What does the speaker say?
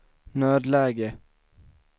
nödläge